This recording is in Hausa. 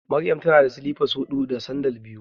Maryam tana da silifa huɗu da sandal biyu.